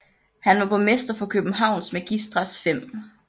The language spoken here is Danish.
Han var borgmester for Københavns Magistrats 5